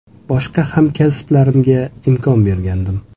Boshqa hamkasblarimga imkon bergandim.